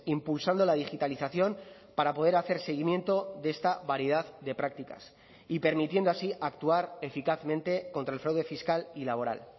impulsando la digitalización para poder hacer seguimiento de esta variedad de prácticas y permitiendo así actuar eficazmente contra el fraude fiscal y laboral